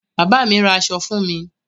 Bàbá mi ra aṣọ fún mi.